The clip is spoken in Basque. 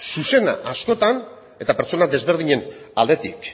zuzena askotan eta pertsona ezberdinen aldetik